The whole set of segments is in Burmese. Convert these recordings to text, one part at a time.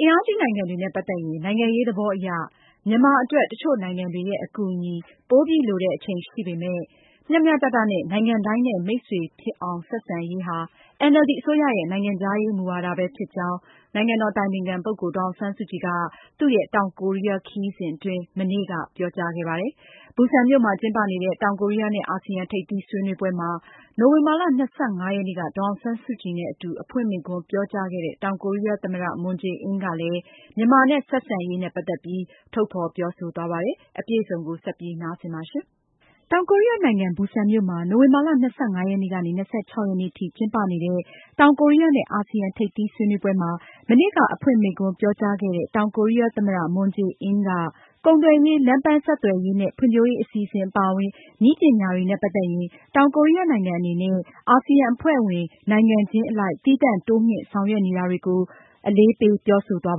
အင်အားကြီးနိုင်ငံတွေနဲ့ ပတ်သက်ရင် နိုင်ငံရေးသဘောအရ မြန်မာအတွက် တချို့နိုင်ငံတွေရဲ့ အကူအညီကို ပိုပြီးလိုတဲ့အချိန်ရှိပေမယ့် မျှမျှတတနဲ့ နိုင်ငံတိုင်းနဲ့ မိတ်ဆွေဖြစ်အောင် ဆက်ဆံရေးဟာ NLD အစိုးရရဲ့ နိုင်ငံခြားရေးမူဝါဒဖြစ်ကြောင်း နိုင်ငံတော်အတိုင်ပင်ခံပုဂ္ဂိုလ် ဒေါ်အောင်ဆန်းစုကြည်က တောင်ကိုရီးယား ခရီးစဉ်အတွင်း တနင်္လာနေ့က ပြောကြားခဲ့ပါတယ်။ ဘူဆန်မြို့မှာကျင်းပနေတဲ့ တောင်ကိုရီးယားနဲ့အာဆီယံ ထိပ်သီးဆွေးနွေးပွဲမှာ နိုဝင်ဘာလ ၂၅ ရက်နေ့က ဒေါ်အောင်ဆန်းစုကြည်နဲ့ အတူ အဖွင့်မိန့်ခွန်းပြောကြားခဲ့တဲ့ တောင်ကိုရီးယားသမ္မတ Moon Jae-in ကလည်း မြန်မာနဲ့ ဆက်ဆံရေးမှာ သိပ္ပံနဲ့ နည်းပညာကဏ္ဍာမှာပါ တိုးချဲ့ ဆောင်ရွက်နေကြောင်း ထုတ်ဖေါ်ပြောဆိုခဲ့ပါတယ်။ မအင်ကြင်းနိုင်က အပြည့်အစုံကို ဆက်လက်တင်ပြမှာပါ။ တောင်ကိုရီးယားနိုင်ငံ ဘူဆန်မြို့မှာ နိုဝင်ဘာလ ၂၅-၂၆ ရက်နေ့ထိ ကျင်းပနေတဲ့ တောင်ကိုရီးယားနဲ့ အာဆီယံ ထိပ်သီးဆွေးနွေးပွဲမှာ မနေ့က အဖွင့်မိန့်ခွန်းပြောကြားခဲ့တဲ့ တောင်ကိုရီးယားသမ္မတ Moon Jae-in က ကုန်သွယ်ရေး၊ လမ်းပန်းဆက်သွယ်ရေးနဲ့ ဖွံဖြိုးရေး အစီအစဉ်အပါအဝင် နည်းပညာတွေနဲ့ ပတ်သက်ရင် တောင်ကိုရီးယားနိုင်ငံအနေနဲ့ အာဆီယံအဖွဲ့ဝင်နိုင်ငံချင်း အလိုက် သီးသန့် တိုးမြှင့် ဆောင်ရွက်နေတာတွေကို အလေးပေး ပြောဆိုသွား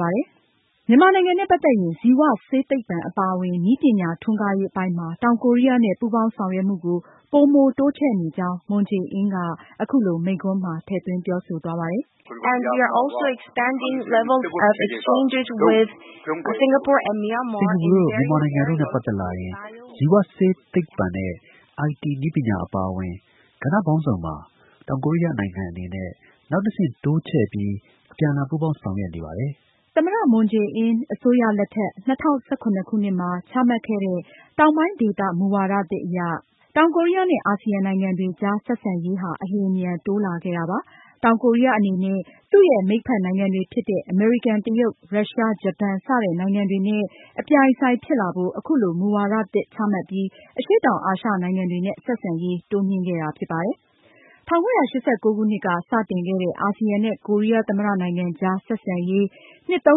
ပါတယ်။ မြန်မာနိုင်ငံနဲ့ပတ်သက်ရင် ဇီဝဆေးသိပ္ပံအပါအဝင် နည်းပညာ ထွန်းကားရေးအပိုင်းမှာ တောင်ကိုးရီးယားနဲ့ ပူပေါင်းဆောင်ရွက်မှုကို ပိုမိုတိုးချဲ့နေကြောင်း Moon Jae-in က အခုလို သူ့မိန်းခွန်းမှာ ထည့်သွင်းပြောဆိုသွားပါတယ်။ “စင်္ကာပူ၊ မြန်မာ နိုင်ငံတွေနဲ့ပတ်သက်ရင် ဇီဝဆေးသိပ္ပံနဲ့ IT နည်းပညာ အပါအဝင် ကဏ္ဍပေါင်းစုံမှာ တောင်ကိုရီးယားနိုင်ငံအနေနဲ့ နောက်တဆင့် တိုးချဲ့ပြီး အပြန်အလှန် ပူးပေါင်းဆောင်ရွက်နေပါတယ်။” သမ္မတ Moon Jae-in အစိုးရလက်ထက် ၂၀၁၇ခုနှစ်မှာ ချမှတ်ခဲ့တဲ့ တောင်ပိုင်းဒေသမူဝါသစ်အရ တောင်ကိုရီးယားနဲ့ အာဆီယံနိုင်ငံတွေကြားဆက်ဆံရေးဟာ အလျင်အမြန်တိုးလာခဲ့တာပါ။ တောင်ကိုးရီးယားအနေနဲ့ သူရဲ့ မိတ်ဖက်နိုင်ငံတွေဖြစ်တဲ့ အမေရိကန်၊ တရုတ်၊ ရုရှား၊ ဂျပန် စတဲ့နိုင်ငံတွေနဲ့ အပြိုင်အဆိုင်ဖြစ်လာဖို့ အခုလို မူဝါဒသစ်ချမှတ်ပြီး အရှေ့တောင်အာရှနိုင်ငံတွေနဲ့ ဆက်ဆံရေးတိုးမြှင့်ခဲ့တာဖြစ်ပါတယ်။ ၁၉၈၉ ခုနှစ်က စတင်ခဲ့တဲ့ အာဆီယံနဲ့ ကိုရီးယားသမ္မတနိုင်ငံ ကြားဆက်ဆံရေး နှစ် (၃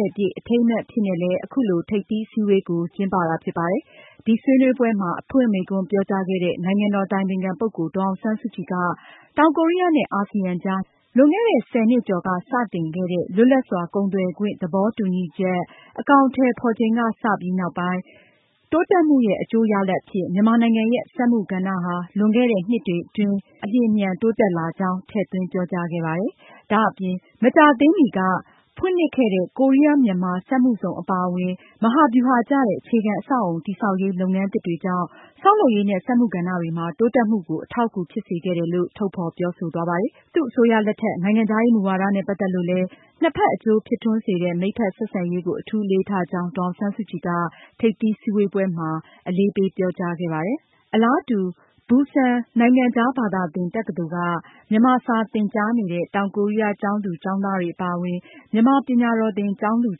၀)ပြည့် အထိမ်းအမှတ်အဖြစ်နဲ့လည်း အခုလို ထိပ်သီးအစည်းအဝေးကို ကျင်းပတာဖြစ်ပါတယ်။ ဒီဆွေးနွေးပွဲမှာ အဖွင့်မိန့်ခွန်းပြောကြားခဲ့တဲ့ နိုင်ငံတော်အတိုင်ပင်ခံ ပုဂ္ဂိုလ် ဒေါ်အောင်ဆန်းစုကြည်က တောင်ကိုရီးယားနဲ့ အာဆီယံကြား လွန်ခဲ့တဲ့ ဆယ်နှစ်ကျော်က စတင်ခဲ့တဲ့ လွတ်လပ်စွာကုန်သွယ်ခွင့် သဘောတူညီချက် အကောင်အထည်ဖေါ်ချိန်ကစပြီးနောက်ပိုင်း တိုးတက်မှုရဲ့ အကျိုးရလဒ်အဖြစ် မြန်မာနိုင်ငံရဲ့ စက်မှုကဏ္ဍ လွန်ခဲ့တဲ့နှစ်တွေအတွင်း အလျင်အမြန်တိုးတက်လာကြောင်း ထည့်သွင်းပြောကြားခဲ့ပါတယ်။ ဒါအပြင် မကြာသေးမီက ဖွင့်လှစ်ခဲ့တဲ့ ကိုးရီးယား-မြန်မာစက်မှုဇုံအပါအဝင် မဟာဗျူဟာ ကျတဲ့ အခြေခံအဆောက်အအုံ တည်ဆောက်ရေး လုပ်ငန်းသစ်တွေကြောင့် ဆောက်လုပ်ရေးနဲ့ စက်မှု ကဏ္ဍတွေမှာ တိုးတက်မှုကို အထောက်အကူဖြစ်စေခဲ့တယ်လို့ သူက ထုတ်ဖေါ်ပြောဆိုသွားပါတယ်။ သူ့အစိုးရလက်ထက် နိုင်ငံခြားရေးမူဝါဒနဲ့ ပတ်သက်လို့လည်း နှစ်ဖက်အကျိုးဖြစ်ထွန်းစေတဲ့ မိတ်ဖက် ဆက်ဆံရေးကို အထူးအလေးထားကြောင်း ဒေါ်အောင်ဆန်းစုကြည်က ထိပ်သီးစည်းဝေးပွဲ အဖွင့်မိန့်ခွန်းမှာ အလေးပေးပြောကြားခဲ့ပါတယ်။ အလားတူ ဘူဆန်နိုင်ငံခြားဘာသာသင် တက္ကသိုလ်က မြန်မာစာသင်ကြားနေတဲ့ တောင်ကိုးရီးယားကျောင်းသူ၊ ကျောင်းသားတွေအပါအဝင် မြန်မာပညာတော်သင် ကျောင်းသူ၊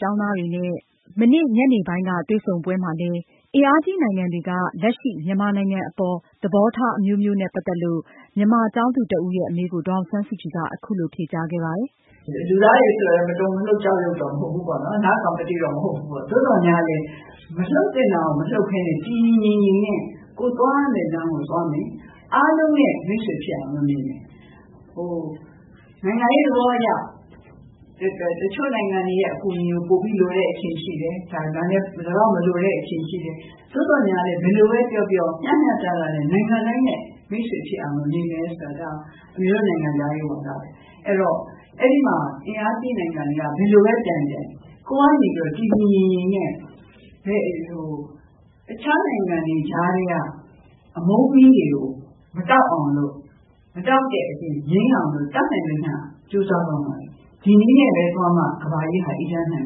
ကျောင်းသားတွေနဲ့ မနေ့ တနင်္လာနေ့ ညနေပိုင်း တွေ့ဆုံပွဲမှာလည်း အင်အားကြီးနိုင်ငံတွေက လက်ရှိ မြန်မာနိုင်ငံအပေါ် သဘောထားအမျိုးမျိုးနဲ့ ပတ်သက်လို့ မြန်မာကျောင်းသူတဦးရဲ့ အမေးကို ဒေါ်အောင်ဆန်းစုကြည်က အခုလို ဖြေကြားခဲ့ပါတယ်။ “ လူသားတွေဆိုတော့ မတုန်မလှုပ် ကျောက်ရုပ်တော့ မဟုတ်ဘူးပေါ့နော်။ သို့သော်လည်း မလှုပ်သင့်တာကို မလှုပ်ပဲနဲ့ တည်တည်ငြိမ်ငြိမ်နဲ့ ကိုယ်သွားရမယ့်လမ်းကို သွားမယ် အားလုံးနဲ့ မိတ်ဆွေဖြစ်အောင်တော့ နေမယ်။ နိုင်ငံရေးသဘောအရ တချို့နိုင်ငံတွေရဲ့ အကူအညီကို လိုတဲ့အချိန်ရှိတယ်၊ ဒီလောက်မလိုတဲ့ အချိန်ရှိတယ်။ သို့သော် ဘယ်လိုပဲပြောပြော မျှမျှတတနဲ့ နိုင်ငံတိုင်းနဲ့ မိတ်ဆွေဖြစ်အောင်တော့ နေမယ်ဆိုတာက အမေတို့ နိုင်ငံခြားရေးမူဝါဒတွေ ။ အဲဒီတော့ အဲဒီမှာ အင်အားကြီးနိုင်ငံတွေက ဘယ်လိုပဲ ပြိုင်ပြိုင် ကိုယ်ကနေပြီးတော့ တည်တည်ငြိမ်ငြိမ်နဲ့ တခြားနိုင်ငံတွေ ကြားထဲက အမုန်းမီးတွေကို မတောက်အောင်လို့ ၊ မတောက်တဲ့အပြင် ငြိမ်းအောင်လို့ တတ်နိုင်သမျှကြိုးစားသွားမယ်။ ဒီနည်းနဲ့ပဲ သွားမှ ကမ္ဘာကြီးဟာ အေးချမ်းမယ်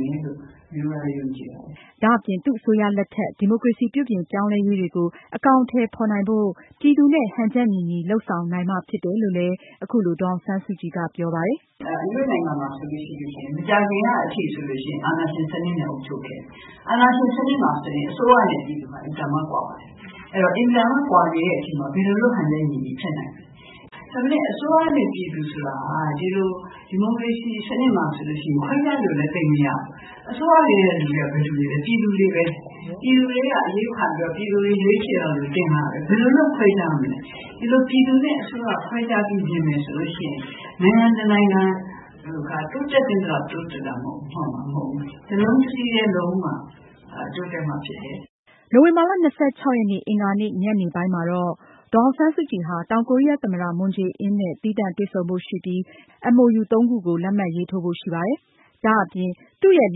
လို့ အမေယုံကြည်တယ်။” ဒါအပြင် သူအစိုးရလက်ထက် ဒီမိုကရေစီပြုပြင်ပြောင်းလဲရေးတွေကို အကောင်အထည်ဖေါ်နိုင်ဖို့ ပြည်သူနဲ့ ဟန်ချက်ညီညီလုပ်ဆောင်နိုင်မှ ဖြစ်မယ်လို့ အခုလို ဒေါ်အောင်ဆန်းစုကြည်က ပြောပါတယ်။ “အမေတို့နိုင်ငံမှာဆိုရင် မကြာခင်ကအထိ အာဏာရှင်စနစ်နဲ့ အုပ်ချုပ်ခဲ့တယ်။ အာဏာရှင်စနစ်မှာဆိုရင် အစိုးရနဲ့ ပြည်သူက အင်မတန်မှ ကွာပါတယ်။ အင်မတန်မှ ကွာနေတဲ့အချိန်မှာ ဘယ်လုပ်လို့ ဟန်ချက်ညီညီ ဖြစ်နိုင်မလဲ ၊ ဒါပေမယ့် အစိုးရနဲ့ ပြည်သူဆိုတာက ဒီလို ဒီမိုကရေစီစနစ်မှာဆိုရင် ခွဲခြားလို့လည်း သိပ်မရဘူး။ အစိုးရလူတွေက ဘယ်သူတွေလဲ ပြည်သူတွေပဲလေ ၊ ပြည်သူတွေထဲက အရွေးခံပြီးတော့ ပြည်သူတွေ ရွေးချယ်ပြီး တင်လိုက်လို့ ဘယ်လိုလို့ ခွဲခြားမလဲ ။ ဒီလိုပြည်သူနဲ့ အစိုးရ ခွဲခြားပြီး မြင်မယ်ဆိုရင် နိုင်ငံတနိုင်ငံက တိုးတက်သင့်သလောက် တိုးတက်မှာမဟုတ်ဘူး။ တလုံးတစည်းထဲ လုပ်မှ တိုးတက်မှာဖြစ်တယ်။” နိုဝင်ဘာလ (၂၆)ရက်နေ့ အင်္ဂါနေ့ ညနေပိုင်းမှာတော့ ဒေါ်အောင်ဆန်းစုကြည် ဟာ တောင်ကိုရီးယား သမ္မတ Moon Jae-in နဲ့ သီးသန့်တွေ့ဆုံဖို့ရှိပြီး နှစ်နိုင်ငံနားလည်မှုစာချွန်လွှာ MOU ၃ ခု လက်မှတ်ရေးထိုးဖို့ရှိပါတယ်။ ဒါအပြင် သူရဲ့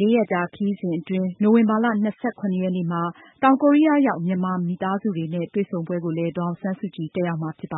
လေးရက်ကြာခရီးစဉ်အတွင်း နိုဝင်ဘာလ (၂၇)ရက်နေ့မှာ တောင်ကိုရီးယားရောက် မြန်မာမိသားစုတွေနဲ့ တွေ့ဆုံပွဲကို ဒေါ်အောင်ဆန်းစုကြည် တက်ရောက်မှာဖြစ်ပါ